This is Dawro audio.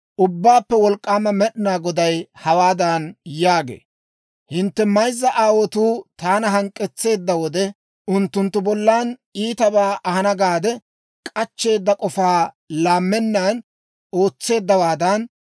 Ubbaappe Wolk'k'aama Med'inaa Goday hawaadan yaagee; «Hintte mayzza aawotuu taana hank'k'etseedda wode, unttunttu bollan iitabaa ahana gaade k'achcheeda k'ofaa laammennan ootseeddawaadan,